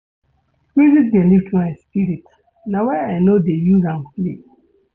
Music dey lift my spirit na why I no dey use am play.